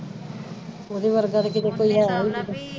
ਉਹਦੇ ਵਰਗਾ ਤਾਂ ਕਿਤੇ ਕੋਈ ਹੈਨੀ